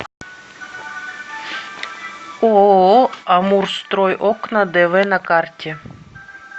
ооо амурстройокна дв на карте